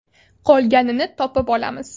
Qolganini topib olamiz.